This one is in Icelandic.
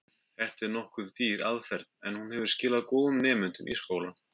Þetta er nokkuð dýr aðferð, en hún hefur skilað góðum nemendum í skólann.